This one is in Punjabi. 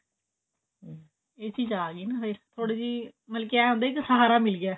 ਇਹ ਚੀਜ ਜੀ ਨਹੀਂ ਹੋਏ ਥੋੜੀ ਜੀ ਮਲਕੀ ਐਂ ਹੁੰਦਾ ਕਿ ਸਹਾਰਾ ਜੀਆ ਮਿਲ ਗਿਆ